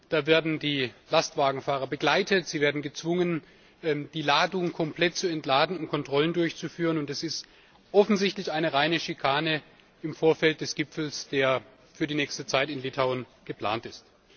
Da werden die Lastwagenfahrer begleitet, sie werden gezwungen, die Ladung komplett zu entladen, um Kontrollen durchzuführen, und es ist offensichtlich eine reine Schikane im Vorfeld des Gipfels, der für die nächste Zeit in Litauen geplant ist.